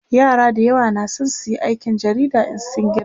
yara da yawa na San suyi aikin jarida In sun girma